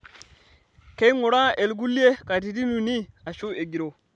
Keinguraa ilkulie katitin uni aashu egiroo.